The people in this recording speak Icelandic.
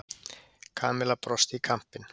Kamilla brosti í kampinn.